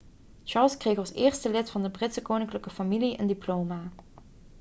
charles kreeg als eerste lid van de britse koninklijke familie een diploma